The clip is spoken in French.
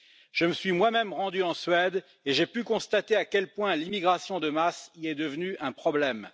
Je me suis moi même rendu en Suède et j'ai pu constater à quel point l'immigration de masse y est devenue un problème.